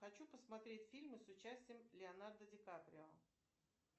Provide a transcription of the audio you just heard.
хочу посмотреть фильмы с участием леонардо ди каприо